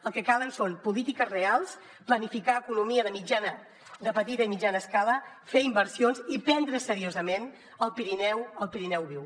el que cal són polítiques reals planificar economia de petita i mitjana escala fer inversions i prendre’s seriosament el pirineu el pirineu viu